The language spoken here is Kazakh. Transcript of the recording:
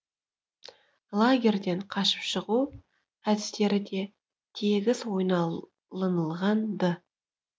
лагерьден қашып шығу әдістері де тегіс ойланылған ды